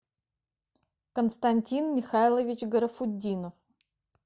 константин михайлович гарафутдинов